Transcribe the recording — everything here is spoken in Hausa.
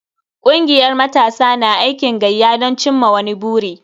Kungiyar matasa na aikin gayya don cimma wani buri.